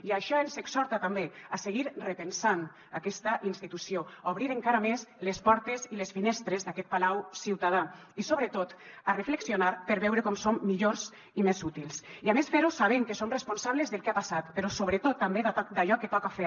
i això ens exhorta també a seguir repensant aquesta institució a obrir encara més les portes i les finestres d’aquest palau ciutadà i sobretot a reflexionar per veure com som millors i més útils i a més fer ho sabent que som responsables del que ha passat però sobretot també d’allò que toca fer